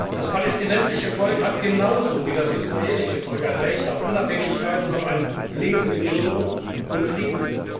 Das palästinensische Volk hat genauso wie das israelische Volk ein Recht auf Unabhängigkeit und auf ein Leben in Würde und Frieden.